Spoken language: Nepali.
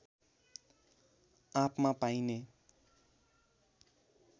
आँपमा पाइने